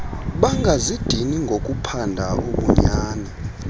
bangazidini ngokuphanda ubunyani